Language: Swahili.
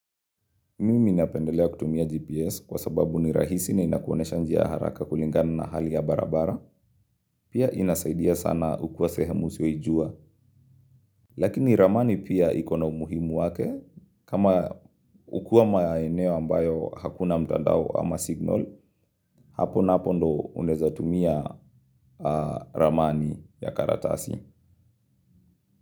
Mimi napendelea kutumia GPS kwa sababu ni rahisi na inakuonyesha njia haraka kulingani na hali ya barabara. Pia inasaidia sana ukiwa sehemu usio ijua. Lakini ramani pia ikona umuhimu wake. Kama ukua maeneo ambayo hakuna mtandao ama signal, hapo na hapo ndo uneza tumia ramani ya karatasi.